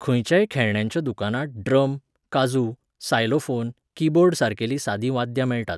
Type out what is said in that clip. खंयच्याय खेळण्यांच्या दुकानांत ड्रम, काझू, सायलोफोन, कीबोर्ड सारकेलीं सादीं वाद्यां मेळटात.